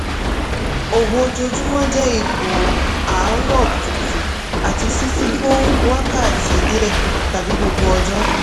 òwò ojoojúmọ́ jẹ́ ipò àárọ̀ kùtùkùtù àti ṣíṣí fún wákàtí díẹ̀ tàbí gbogbo ọjọ́.